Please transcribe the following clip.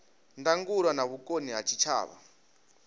ndangulo na vhukoni ha zwitshavha